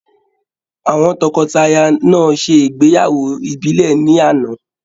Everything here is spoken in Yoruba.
Àwọn tọkọtaya náà ṣe ìgbéyàwó ìbílẹ̀ ní àná.